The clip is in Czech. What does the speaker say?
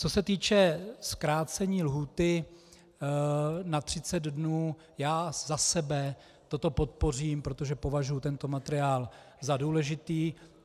Co se týče zkrácení lhůty na 30 dnů, já za sebe toto podpořím, protože považuji tento materiál za důležitý.